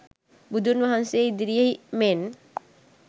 බුදුන් වහන්සේ ඉදිරියෙහි මෙන්